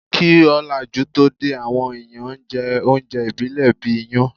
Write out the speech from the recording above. Kí òlàjú tó dé, àwọn èèyàn n jẹ oúnjẹ ìbílẹ̀ bíi iyán